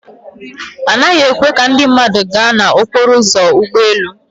Anaghị ekwe ka ndị mmadụ gaa n'okporo ụzọ ụgbọ elu.